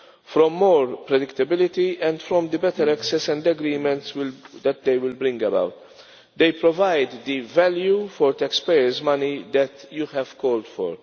from more predictability and from the better access and agreements that they will bring about. They provide the value for taxpayers' money that you have called for.